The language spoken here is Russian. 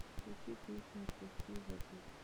включи песню отпусти и забудь